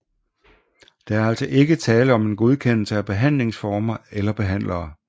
Der er altså ikke tale om en godkendelse af behandlingsformer eller behandlere